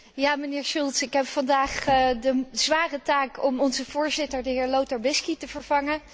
Meneer Schulz, ik heb vandaag de zware taak om onze voorzitter, de heer Lothar Bisky, te vervangen.